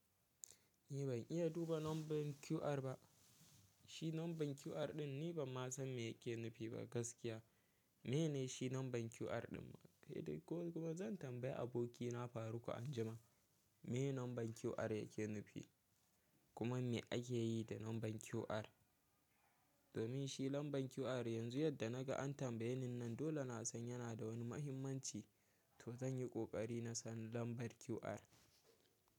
Ni ban iya duba lambar QR ba. Shi lambar QR ɗin ni banma san me yake nufi ba gaskiya. Mene shi lambar QR ɗin? Kuma zan tambayi abokina Faruk anjima. Mene lambar QR yake nufi? Kuma me ake yi da lambar QR? Domin shi lambar QR yanzu yadda naga an tambaye ni nan dole na san yana da wani muhimmanci to zan yi ƙoƙari na san lambar QR.